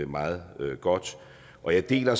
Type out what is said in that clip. meget godt og jeg deler